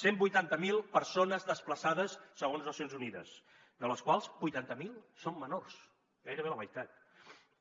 cent vuitanta mil persones desplaçades segons nacions unides de les quals vuitanta mil són menors d’edat gairebé la meitat